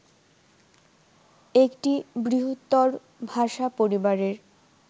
একটি বৃহত্তর ভাষা পরিবারের